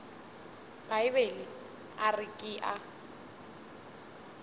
bibele a re ke a